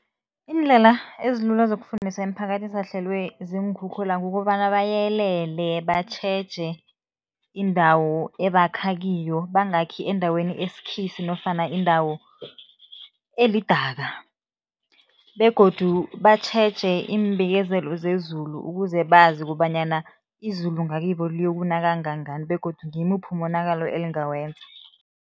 Iindlela ezilula zokufundisa imiphakathi esahlelwe ziinkhukhula kukobana bayelele, batjheje indawo ebakha kiyo, bangakhi endaweni esikhisi nofana indawo elidaka begodu batjheje iimbikezelo zezulu, ukuze bazi kobanyana izulu ngakibo liyokuna kangangani begodu ngimuphi umonakalo elingawenza.